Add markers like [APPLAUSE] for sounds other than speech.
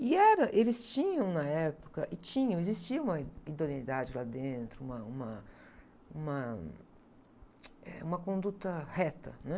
E era, eles tinham na época, e tinham, existia uma idoneidade lá dentro, uma, uma, uma, [UNINTELLIGIBLE] eh, uma conduta reta, né?